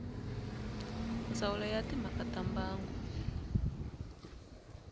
ndzawulo ya timhaka ta mbango